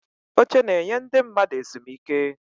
Oche na-enye ndị mmadụ ezumike.